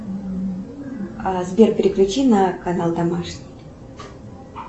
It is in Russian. сбер переключи на канал домашний